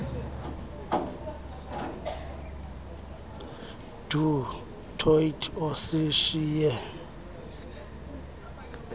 du toit osishiye